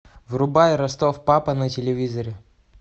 врубай ростов папа на телевизоре